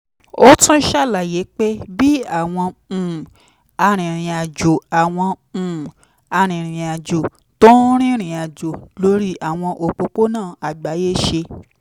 ó tún ṣàlàyé pé bí àwọn um arìnrìn-àjò àwọn um arìnrìn-àjò tó ń rìnrìn àjò lórí àwọn òpópónà àgbáyé ṣe